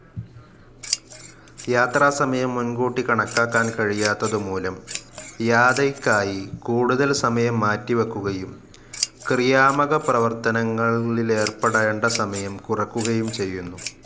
യാത്രാസമയം മുൻകൂട്ടി കണക്കാക്കാൻ കഴിയാത്തതുമൂലം യാതയ്ക്കായി കൂടുതൽ സമയം മാറ്റിവെയ്ക്കുകയും ക്രിയാമകപ്രവർത്തനങ്ങളിലേർപ്പെടേണ്ട സമയം കുറയുകയും ചെയ്യുന്നു.